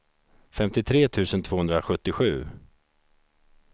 femtiotre tusen tvåhundrasjuttiosju